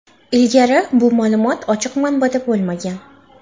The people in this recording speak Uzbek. Ilgari bu ma’lumot ochiq manbada bo‘lmagan.